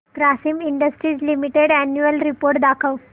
Grasim industries limited annual report दाखव